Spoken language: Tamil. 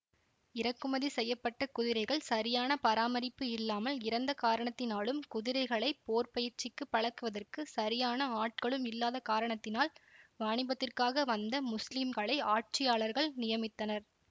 இறக்குமதி செய்ய பட்ட குதிரைகள் சரியான பராமரிப்பு இல்லாமல் இறந்த காரணத்தினாலும் குதிரைகளை போர்ப்பயிற்சிக்கு பழக்குவதற்கு சரியான ஆட்களூம் இல்லாத காரணத்தினால் வாணிபத்திற்காக வந்த முஸ்லிம்களை ஆட்சியாளர்கள் நியமித்தனர்